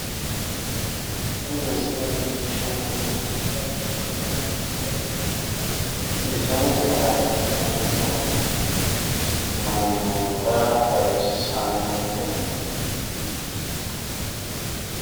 Tini misile leellishshannohu iibballichote marte bisonsa hayishshidhanni noo mannoota xawissannote.